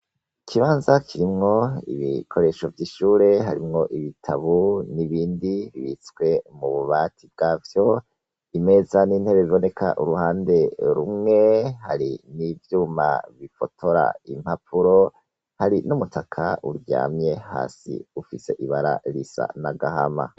Ikibanza kirimwo ibikoresho vy'ishure. Harimwo ibitabu n'ibindi bibitswe mu bubati bwavyo. Imeza n'intebe biboneka uruhande rumwe, hari n'ivyuma bifotora impampuro, hari n'umutaka uryamye hasi ufise ibara risa n'agahama.